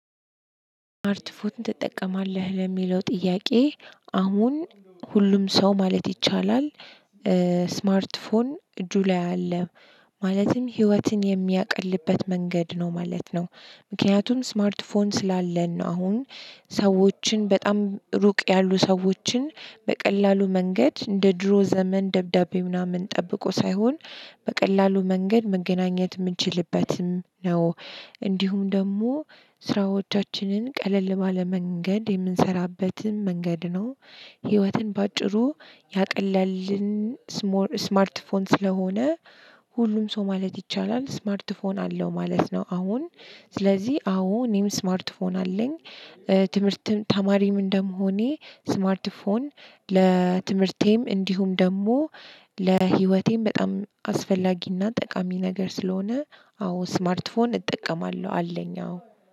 ስማርት ፎን ትጠቀማለህ ለሚለው ጥያቄ አሁን ሁሉም ሰው ማለት ይቻላል። ስማርት ፎን እጁ ላይ አለ ማለትም ህይወትን የሚያቀልበት መንገድ ነው ማለት ነው። ምክንያቱም ስማርት ፎን ስላለን ነው አሁን ሰዎችን በጣም ሩቅ ያሉ ሰዎችን በቀላሉ መንገድ እንደ ድሮ ዘመን ደብዳቤ ምናምን ጠብቆ ሳይሆን በቀላሉ መንገድ መገናኘት ምንችልበትም ነው። እንዲሁም ደግሞ ስራዎቻችንን ቀለል ባለ መንገድ የምንሰራበትም መንገድ ነው። ህይወትን በአጭሩ ያቀለልን ስሞል ስማርት ፎን ስለሆነ። ሁሉም ሰው ማለት ይቻላል ስማርት ፎን አለው ማለት ነው። አሁን ስለዚህ አዎ እኔም ስማርት ፎን አለኝ። ትምህርትም ተማሪም እንደመሆኔ ስማርት ፎን ለትምህርቴም እንዲሁም ደግሞ ለህይወቴም በጣም አስፈላጊ እና ጠቃሚ ነገር ስለሆነ። አዎ ስማርት ፎን እጠቀማለሁ አለኝ አዎ